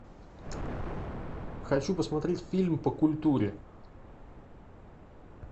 хочу посмотреть фильм по культуре